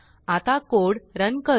आता code run करू